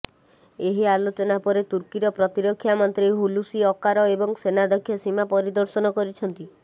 ଏହି ଆଲୋଚନା ପରେ ତୁର୍କୀର ପ୍ରତିରକ୍ଷା ମନ୍ତ୍ରୀ ହୁଲୁସି ଅକାର ଏବଂ ସେନାଧ୍ୟକ୍ଷ ସୀମା ପରିଦର୍ଶନ କରିଛନ୍ତି